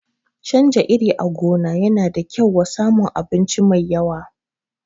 Canja iri a gona yana da kyau wa samun abinci mai yawa